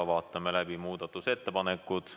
Vaatame läbi muudatusettepanekud.